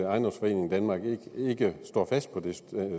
ejendomsforeningen danmark ikke står fast på det